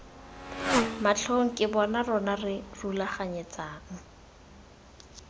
matlhong ke rona re rulaganyetsang